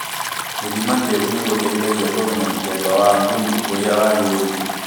Gũthima tĩĩri nĩ guteithagia kũmenya mũthemba wa thumu ũria wagĩrĩire